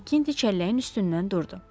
Makkinti çəlləyin üstündən durdu.